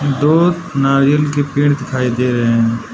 दो नारियल के पेड़ दिखाई दे रहे हैं।